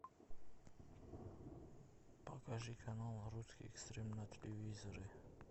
покажи канал русский экстрим на телевизоре